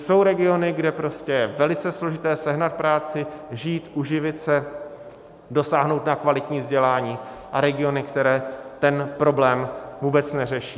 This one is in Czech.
Jsou regiony, kde je velice složité sehnat práci, žít, uživit se, dosáhnout na kvalitní vzdělání, a regiony, které ten problém vůbec neřeší.